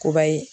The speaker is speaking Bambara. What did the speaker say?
Kubayi